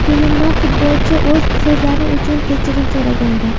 Keyinroq futbolchi o‘z so‘zlari uchun kechirim so‘ragandi.